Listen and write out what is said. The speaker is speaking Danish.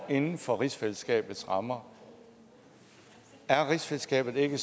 inden for rigsfællesskabets rammer er rigsfællesskabet ikke